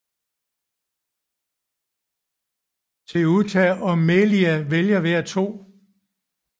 Ceuta og Melilla vælger hver to